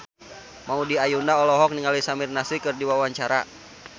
Maudy Ayunda olohok ningali Samir Nasri keur diwawancara